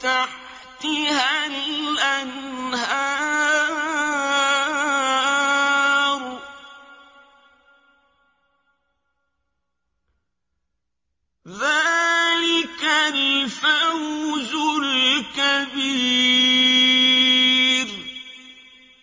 تَحْتِهَا الْأَنْهَارُ ۚ ذَٰلِكَ الْفَوْزُ الْكَبِيرُ